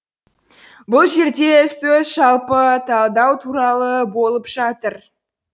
бұл жерде сөз жалпы талдау туралы болып жатыр